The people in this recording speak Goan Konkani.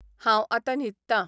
हांव आतां न्हिदता